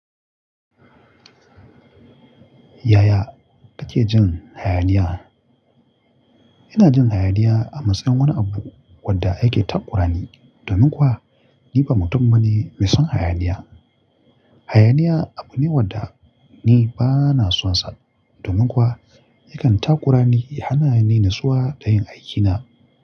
Yaya kake jin hayaniya? Ina jin hayaniya a matsayin wani abu wadda yake takura ni. Domin kuwa ni ba mutum bane mai son hayaniya. Hayaniya abu ne wadda ni ba na son sa. Domin kuwa yakan takura ni ya hana ni nitsiwa da yin aikina.